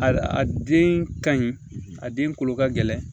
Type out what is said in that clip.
A a den ka ɲi a den kolo ka gɛlɛn